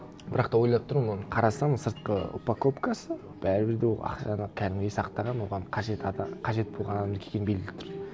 бірақ та ойлап тұрмын оны қарасаң сыртқы упаковкасы бәрібір де ол ақшаны кәдімгідей сақтаған оған қажет қажет болған адамдікі екені белгілі тұр